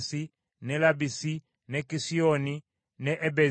ne Labbisi ne Kisioni ne Ebezi,